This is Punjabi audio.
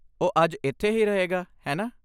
ਉਹ ਅੱਜ ਇੱਥੇ ਹੀ ਰਹੇਗਾ, ਹੈਨਾ?